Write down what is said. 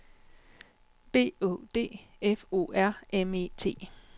B Å D F O R M E T